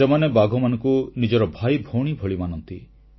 ସେମାନେ ବାଘମାନଙ୍କୁ ନିଜର ଭାଇଭଉଣୀ ଭଳି ମାନନ୍ତି